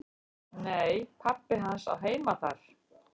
"""Nei, pabbi hans á heima þar."""